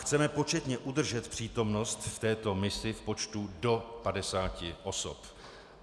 Chceme početně udržet přítomnost v této misi v počtu do 50 osob.